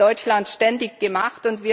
Das wird in Deutschland ständig gemacht.